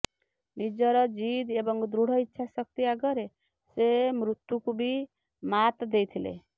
ନିଜର ଜିଦ୍ ଏବଂ ଦୃଢ ଇଚ୍ଛା ଶକ୍ତି ଆଗରେ ସେ ମୃତ୍ୟୁକୁ ବି ମାତ୍ ଦେଇଥିଲେ